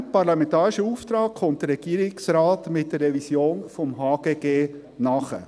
Diesem parlamentarischen Auftrag kommt der Regierungsrat mit der Revision des HGG nach.